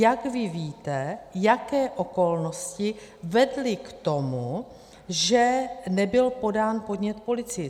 Jak vy víte, jaké okolnosti vedly k tomu, že nebyl podán podnět policii?